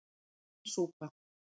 Græn súpa